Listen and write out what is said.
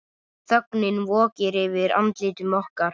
Þögnin vokir yfir andlitum okkar.